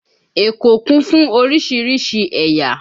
Èkó kún fún oríṣiríṣi ẹ̀yà